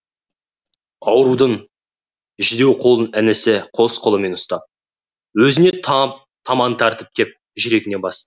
аурудың жүдеу қолын інісі қос қолымен ұстап өзіне таман тартып кеп жүрегіне басты